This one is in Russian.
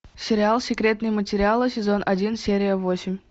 сериал секретные материалы сезон один серия восемь